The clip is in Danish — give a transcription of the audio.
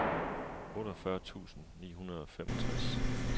otteogfyrre tusind ni hundrede og femogtres